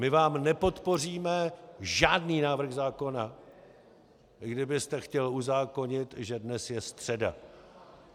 My vám nepodpoříme žádný návrh zákona, i kdybyste chtěl uzákonit, že dnes je středa.